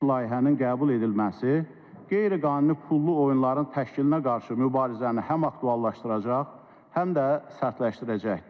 Layihənin qəbul edilməsi qeyri-qanuni pullu oyunların təşkilinə qarşı mübarizəni həm aktuallaşdıracaq, həm də sərtləşdirəcəkdir.